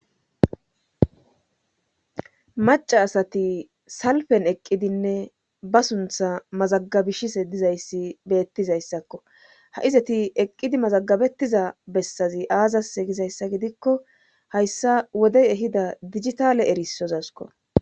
maca asati salpen eqqidinne ba suntha mazagabishise dizayssi beettizayssakko ha izati eqqidi mazagabettiza bessazi aazas egizayssa gidikko hayssa wodey ehida digitale erisozasko